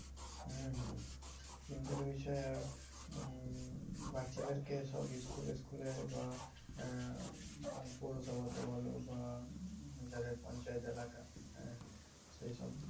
হম চিন্তার বিষয়। আর উম বাচ্চাদের কে সব school school এ বা আহ পৌরসভাতে বলো বা যাদের পঞ্চায়েত এলাকা হ্যাঁ সেই সব